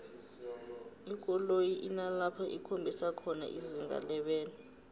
ikoloyi inalapho ikhombisa khona izinga lebelo